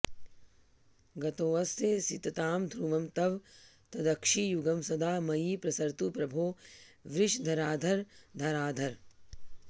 गतोऽस्यसिततां ध्रुवं तव तदक्षियुग्मं सदा मयि प्रसरतु प्रभो वृषधराध्रधाराधर